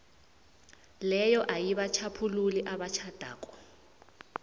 leyo ayibatjhaphululi abatjhadako